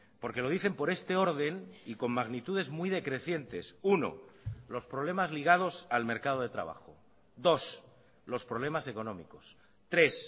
porque lo dicen por este orden y con magnitudes muy decrecientes uno los problemas ligados al mercado de trabajo dos los problemas económicos tres